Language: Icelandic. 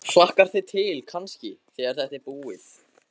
Helga: Hlakkar þig til kannski, þegar þetta er búið?